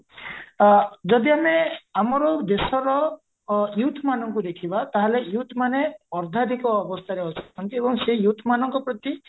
ଆ ଯଦି ଆମେ ଆମର ଦେଶର youth ମାନଙ୍କୁ ଦେଖଇବା ତାହେଲେ youth ମାନେ ଅର୍ଦ୍ଧାଧିକ ଅବସ୍ଥାରେ ଅଛନ୍ତି ଏବଂ ସେଇ youth ମାନଙ୍କ ପ୍ରତି